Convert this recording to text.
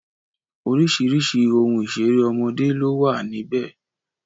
Orísìírísìí ohun ìṣeré ọmọdé ló wà níbẹ̀